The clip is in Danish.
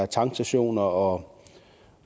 tankstationer og